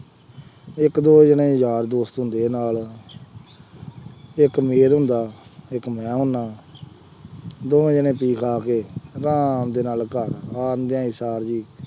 ਇੱਕ ਦੋ ਜਣੇ ਯਾਰ ਦੋਸਤ ਹੁੰਦੇ ਆ ਨਾਲ, ਇੱਕ ਮਿਹਰ ਹੁੰਦਾ, ਇੱਕ ਮੈਂ ਹੁੰਦਾ ਦੋਵੇਂ ਜਣੇ ਪੀ ਖਾ ਕੇ ਆਰਾਮ ਦੇ ਨਾਲ ਘਰ ਆਉਂਦਿਆਂ ਸਾਰ ਹੀ